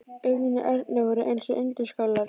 Augun í Erni voru eins og undirskálar.